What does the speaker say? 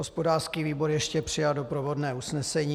Hospodářský výbor ještě přijal doprovodné usnesení.